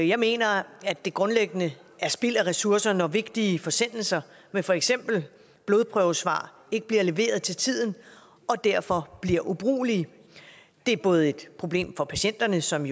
jeg mener at det grundlæggende er spild af ressourcer når vigtige forsendelser med for eksempel blodprøvesvar ikke bliver leveret til tiden og derfor bliver ubrugelige det er både et problem for patienterne som